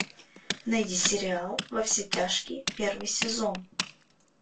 найди сериал во все тяжкие первый сезон